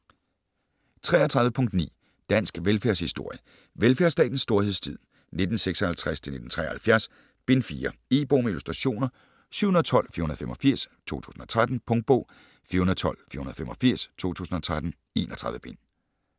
33.9 Dansk velfærdshistorie: Velfærdsstatens storhedstid: 1956-1973: Bind 4 E-bog med illustrationer 712485 2013. Punktbog 412485 2013. 31 bind.